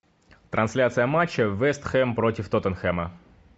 трансляция матча вест хэм против тоттенхэма